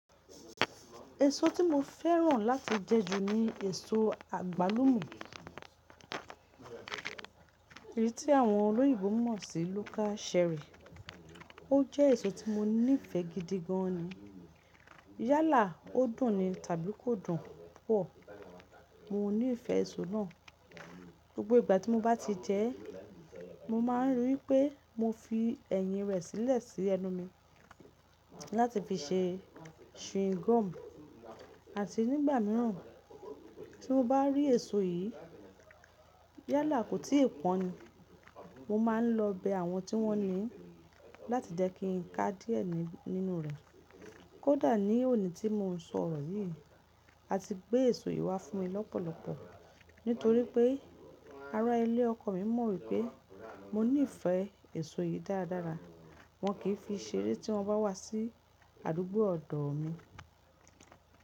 Èso tí mo fẹ́ràn láti jẹ jù ni èso àgbálùmo. Èyí tí àwọn olóyìnbo mọ̀ sí Local cherry. Ó jẹ́ èso tí mo nífẹ̀ẹ́ gidi gan ni. Yálà ó dùn ni tàbí kò dùn pupọ, mo nífẹ̀ẹ́ èso náà. Gbogbo ìgbà tí mo bá ti jẹ ẹ́, mo máa n rí wipé mo fi ẹ̀yìn rẹ̀ sílẹ̀ sí ẹnu mi láti fi ṣe chewing gum àti nígbà mìíràn tí mo bá rí èso yìí, yálà kò tí ì pọ́n ni, mo máa ń lọ bẹ àwọn tí wọ́n ní i láti jẹ́ kí n ká díẹ̀ nínú rẹ̀. Kódà ní òní tí mo n sọ ọ̀rọ̀ yìí, a ti gbé èso yìí wá fún mi lọ́pọ̀lọpọ̀ nítorí pé ará ilé ọkọ mi mọ̀ wípé mo nífẹ̀ẹ́ èso yìí dáradára. Wọn kì í fi seré tí wọ́n bá wá sí àdúgbò ọ̀dọ̀ mi.